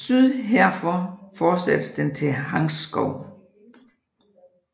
Syd herfor fortsættes den til Hangtshou